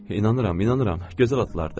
İnanıram, inanıram, gözəl atlardır.